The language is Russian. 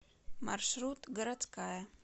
маршрут городская